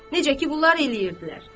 Necə ki, bunlar eləyirdilər.